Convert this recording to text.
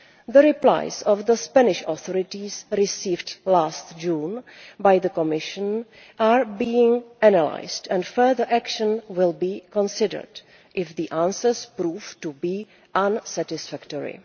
The replies of the Spanish authorities received last June by the Commission are being analysed and further action will be considered if the answers prove to be unsatisfactory.